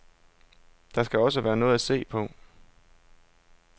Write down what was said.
Der skal være noget at se på.